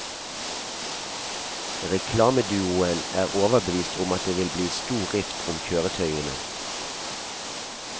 Reklameduoen er overbevist om at det vil bli stor rift om kjøretøyene.